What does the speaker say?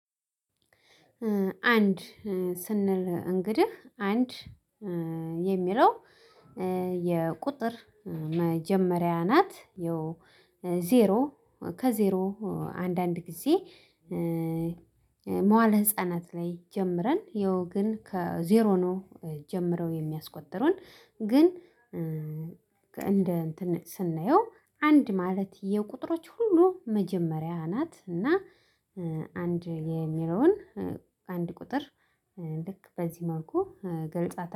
አንድ ስንል እንግዲህ አንድ የሚለው የቁጥር መጀመሪያ ናት። ዜሮ ከዜሮ አንዳንድ ጊዜ። መዋለ ህፃናት ላይ ጀምረን ያው ግን ከዜሮ ነው ጀምረው የሚያስቆጥሩን ግን። እንደ እንትን ስናየው አንድ ማለት የቁጥሮች ሁሉ መጀመሪያ ናት። እና አንድ የሚለውን አንድ ቁጥር ልክ በዚህ መልኩ ገልጿታል።